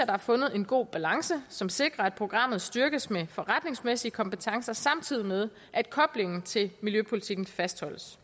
der er fundet en god balance som sikrer at programmet styrkes med forretningsmæssige kompetencer samtidig med at koblingen til miljøpolitikken fastholdes